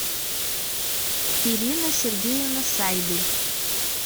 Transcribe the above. ирина сергеевна сайбель